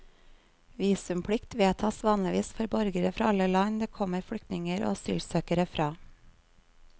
Visumplikt vedtas vanligvis for borgere fra alle land det kommer flyktninger og asylsøkere fra.